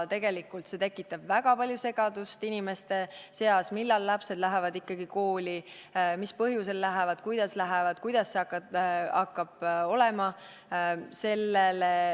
Tegelikult tekitab see väga palju segadust inimeste seas, et millal lapsed lähevad ikkagi kooli, mis põhjusel lähevad, kuidas lähevad, kuidas see hakkab olema.